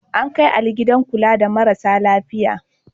An kai Ali gidan kula da marasa lafiya.